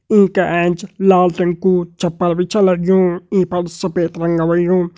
ईं का एंच लाल रंग कु छपर भी छ लग्युं ईं पर सफ़ेद रंग होयुं।